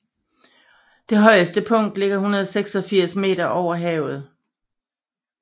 Det højeste punkt ligger 186 meter over havet